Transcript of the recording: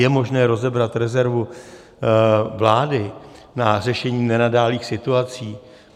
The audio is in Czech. Je možné rozebrat rezervu vlády na řešení nenadálých situací?